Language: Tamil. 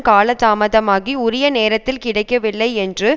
காலதாமதாகி உரிய நேரத்தில் கிடைக்கவில்லை என்று